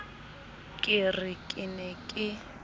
ke re ke ne ke